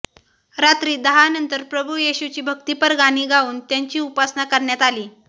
रात्री दहा नंतर प्रभू येशुची भक्तीपर गाणी गाऊन त्याची उपासना करण्यात आली